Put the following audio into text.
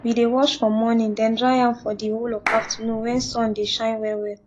we dey wash for morning den dry am for d whole of afternoon wen sun dey shine well well